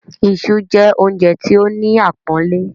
“Isu” jẹ́ oúnjẹ tí ó ní àpọ́nlé.